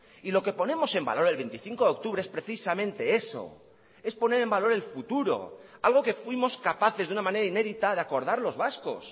y lo que ponemos en valor el veinticinco de octubre es precisamente eso es poner en valor el futuro algo que fuimos capaces de una manera inédita de acordar los vascos